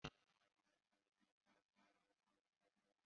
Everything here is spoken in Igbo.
Ee, iko kwesịrị ịdị ọcha